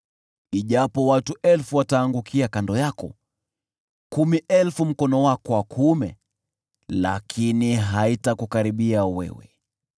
Ijapo watu elfu wataangukia kando yako, kumi elfu mkono wako wa kuume, lakini haitakukaribia wewe.